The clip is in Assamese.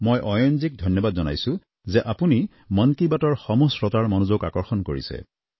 মই অয়ন মহোদয়ক ধন্যবাদ জনাইছোঁ যে আপুনি মন কী বাতৰ সমূহ শ্ৰোতাৰ মনোযোগ আকৰ্ষণ কৰিছে